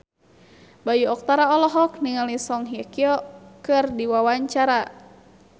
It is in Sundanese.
Bayu Octara olohok ningali Song Hye Kyo keur diwawancara